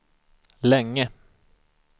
länge